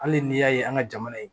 Hali n'i y'a ye an ka jamana ye